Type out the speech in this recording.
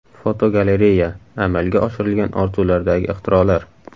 Fotogalereya: Amalga oshirilgan orzulardagi ixtirolar.